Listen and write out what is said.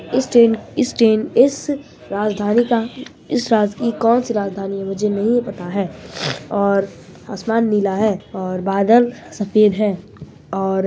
इस ट्रेन इस ट्रेन इस राजधानी का इस राज्य की कोनसी राजधानी है मुझे नहीं पता है और आसमान नीला है और बादल सफ़ेद है और--